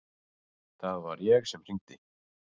Það var ég sem hringdi.